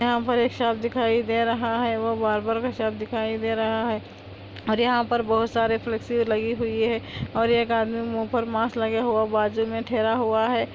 यहाँ पर एक शॉप दिखाई दे रहा है वोो बार्बर का शॉप दिखाई दे रहा हे और यह पर बहुत सरे फ्लेक्सी लगायी हुई हे यह एह्क आदमी मुँह पर मास्क लगा हुआ हे बाजु में तेरा हुहा हे |